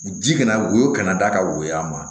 Ji kana woyo kana da ka woyɔ a ma